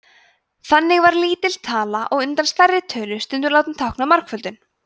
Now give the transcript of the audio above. þannig var lítil tala á undan stærri tölu stundum látin tákna margföldun